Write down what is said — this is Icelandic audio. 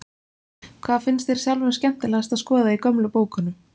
Hvað finnst þér sjálfum skemmtilegast að skoða í gömlu bókunum?